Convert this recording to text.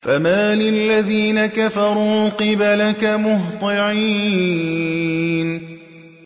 فَمَالِ الَّذِينَ كَفَرُوا قِبَلَكَ مُهْطِعِينَ